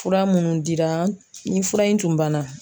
Fura minnu dira ni fura in tun banna